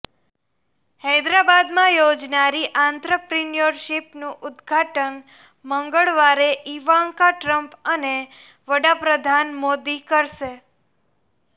હૈદરાબાદમાં યોજાનારી આંત્રપ્રિન્યોરશીપનું ઉદ્ઘાટન મંગળવારે ઈવાંકા ટ્રમ્પ અને વડાપ્રધાન મોદી કરશે